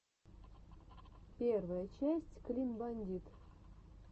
первая часть клин бандит